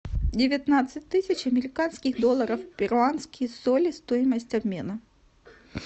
девятнадцать тысяч американских долларов в перуанские соли стоимость обмена